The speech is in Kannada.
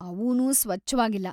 ಅವೂನೂ ಸ್ವಚ್ಛವಾಗಿಲ್ಲ.